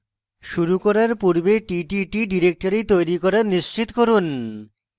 শুরু করার পূর্বে ttt directory তৈরী করা নিশ্চিত করুন